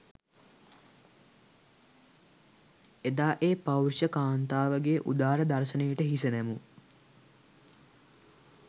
එදා ඒ පෞරුෂ කාන්තාවගේ උදාර දර්ශනයට හිස නැමූ